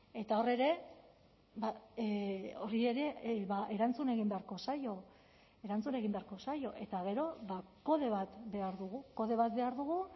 eta hor ere horri ere erantzun egin beharko zaio erantzun egin beharko zaio eta gero kode bat behar dugu kode bat behar dugu